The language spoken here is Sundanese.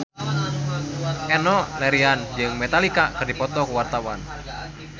Enno Lerian jeung Metallica keur dipoto ku wartawan